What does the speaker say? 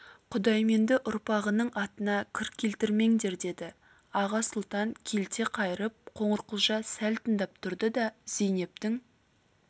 құдайменді ұрпағының атына кір келтірмеңдер деді аға сұлтан келте қайырып қоңырқұлжа сәл тыңдап тұрды да зейнептің